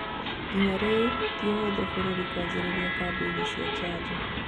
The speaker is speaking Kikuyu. Nginyagia rĩu, ti ũhuthũ bũrũri kwanjĩrĩria kambĩini cia njanjo